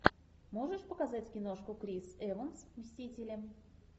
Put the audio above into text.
можешь показать киношку крис эванс мстители